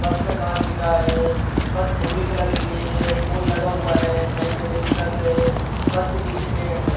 बस का काँच दिख रहा है बस भूरी कलर की है फूल लगा हुआ है नई नवेली बस है बस के पीछे पेड़ है।